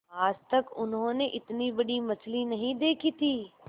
आज तक उन्होंने इतनी बड़ी मछली नहीं देखी थी